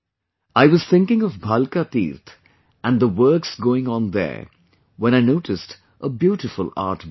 I was thinking of Bhalaka Teerth and the works going on there when I noticed a beautiful artbook